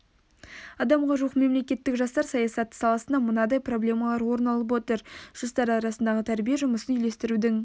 адамға жуық мемлекеттік жастар саясаты саласында мынадай проблемалар орын алып отыр жастар арасындағы тәрбие жұмысын үйлестірудің